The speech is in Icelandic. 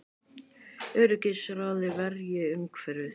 Öryggisráðið verji umhverfið